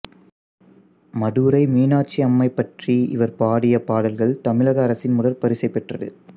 மதுரை மீனாட்சியம்மை பற்றி இவர் பாடிய பாடல்கள் தமிழக அரசின் முதற்பரிசு பெற்றது